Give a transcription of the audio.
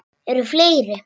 Eru fleiri?